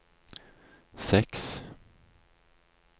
seks